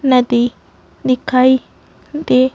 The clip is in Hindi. नदी दिखाई दे--